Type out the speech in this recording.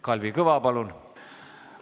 Kalvi Kõva, palun!